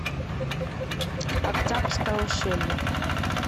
октябрьское ущелье